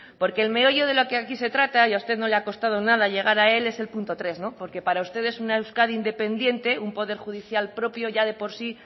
porque el meollo de lo que aquí se trata y a usted no le ha costado nada llegar a él es el punto tres porque para usted es una euskadi independiente un poder judicial propio ya de por sí